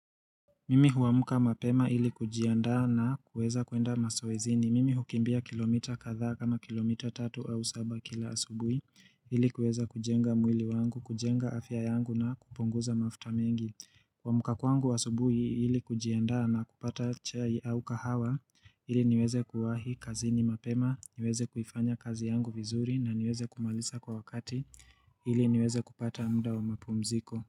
Mimi huamka mapema ili kujiandaa na kuweza kuenda mazoezini. Mimi hukimbia kilomita kadhaa kama kilomita tatu au saba kila asubuhi ili kuweza kujenga mwili wangu, kujenga afya yangu na kupunguza mafuta mengi. Kuamka kwangu asubuhi ili kujiandaa na kupata chai au kahawa ili niweze kuwahi kazi ni mapema, niweze kuifanya kazi yangu vizuri na niweze kumaliza kwa wakati ili niweze kupata mda wa mapumziko.